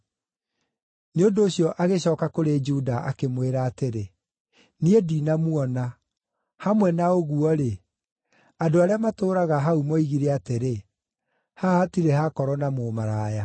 Nĩ ũndũ ũcio agĩcooka kũrĩ Juda, akĩmwĩra atĩrĩ, “Niĩ ndinamuona. Hamwe na ũguo-rĩ, andũ arĩa matũũraga hau moigire atĩrĩ, ‘Haha hatirĩ hakorwo na mũmaraya.’ ”